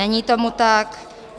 Není tomu tak.